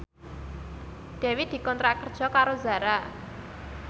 Dewi dikontrak kerja karo Zara